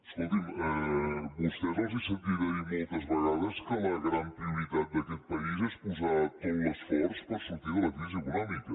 escolti’m a vostès els he sentit a dir moltes vegades que la gran prioritat d’aquest país és posar tot l’esforç per sortir de la crisi econòmica